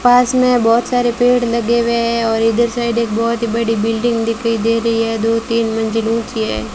पास में बहुत सारे पेड़ लगे हुए हैं और इधर साइड एक बहुत ही बड़ी बिल्डिंग दिखाई दे रही है दो तीन मंजिलों की है।